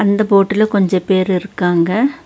இந்த போட்டுல கொஞ்ச பேர் இருக்காங்க.